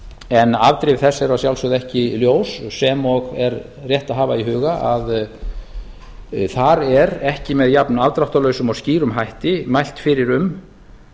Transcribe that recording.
en afdrif þess eru að sjálfsögðu ekki ljós sem og er rétt að hafa í huga að þar er ekki með jafnafdráttarlausum og skýrum hætti mælt fyrir um